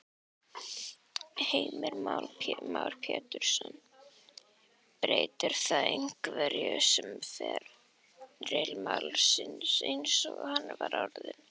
Heimir Már Pétursson: Breytir það einhverju um feril málsins eins og hann var orðinn?